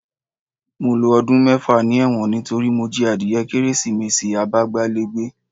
Mo lo ọdún mẹ́fà ni ẹ̀wọ̀n nítorí mo jí adìye Kérésìmesì abágbálégbé